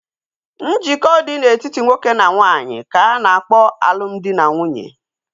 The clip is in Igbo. Njikọ dị na-etiti nwoke na nwaanyị ka a na-akpọ alụmdi na nwunye